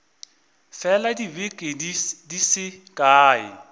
fela dibeke di se kae